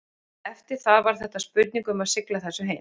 Eftir það var þetta spurning um að sigla þessu heim.